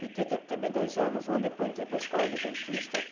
Fiquei tam também dois anos, um ano depois entrei para a escola Adventista